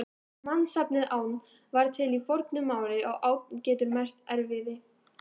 Mannsnafnið Ánn var til í fornu máli og ánn getur merkt erfiði.